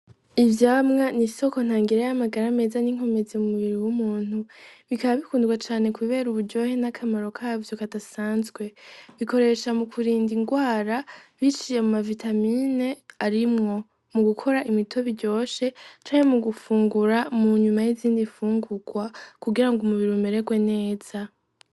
Ivyamwa n'isoko ntangere y'amagara meza n'inkomezi m'umubiri w'umuntu, bikaba bikundwa cane kubera uburyohe n'akamaro kavyo kadasanzwe, bikoreshwa mu kurinda ingwara biciye muma vitamine arimwo mugukora imitobe iryoshe canke mugufungura munyuma yiz'izindi nfungurwa kugira umubiri umererwe neza.